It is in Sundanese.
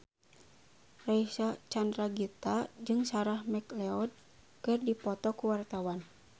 Reysa Chandragitta jeung Sarah McLeod keur dipoto ku wartawan